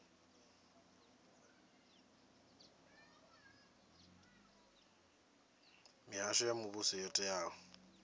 mihasho ya muvhuso yo teaho